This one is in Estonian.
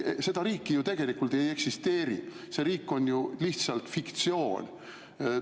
Seda riiki ju tegelikult ei eksisteeri, see riik on lihtsalt fiktsioon.